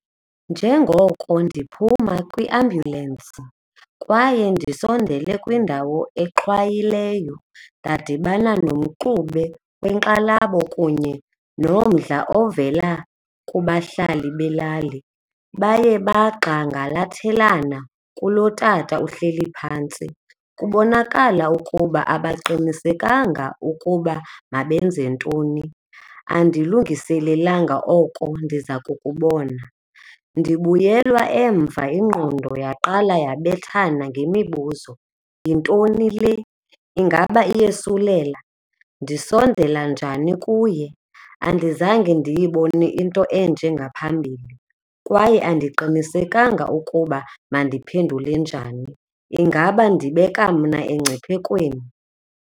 Njengoko ndiphuma kwiembyuselensi kwaye ndisondele kwiindawo exhwayileyo ndadibana nomxube wenkxalabo kunye nomdla ovela kubahlali belali baye bagxangalathelena kulo tata uhleli phantsi. Kubonakala ukuba abaqinisekanga ukuba mabenzentoni, andilungiselelanga oko ndiza kukubona. Ndibuyelwa emva ingqondo yaqala yabethana ngemibuzo. Yintoni le? Ingaba iyesulela? Ndisondela njani kuye? Andizange ndiyibone into enje ngaphambili kwaye andiqinisekanga ukuba mandiphendule njani. Ingaba ndibeka mna engciphekweni?